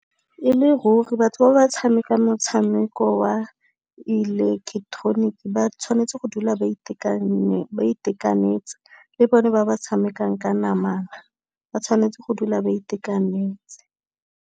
E le ruri batho ba ba tshamekang motshameko wa ba tshwanetse go dula ba itekanetse, le bone ba ba tshamekang ka namana ba tshwanetse go dula ba itekanetse.